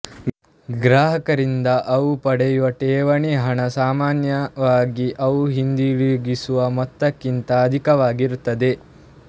ಗ್ರಾಹಕರಿಂದ ಅವು ಪಡೆಯುವ ಠೇವಣಿ ಹಣ ಸಮಾನ್ಯವಾಗಿ ಅವು ಹಿಂತಿರುಗಿಸುವ ಮೊತ್ತಕ್ಕಿಂತ ಅಧಿಕವಾಗಿರುತ್ತದೆ